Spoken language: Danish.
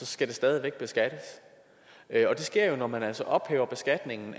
skal det stadig væk beskattes og det sker når man altså ophæver beskatningen